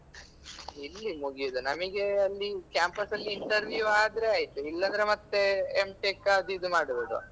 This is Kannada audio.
ಎಲ್ಲಿ ಮುಗಿಯುದು ನಮಿಗೆ ಅಲ್ಲಿ campus ಅಲ್ಲಿ interview ಆದ್ರೆ ಆಯ್ತುಇಲ್ಲಾಂದ್ರೆ ಮತ್ತೇ M.Tech ಅದು ಇದು ಮಾಡ್ಬೋದು.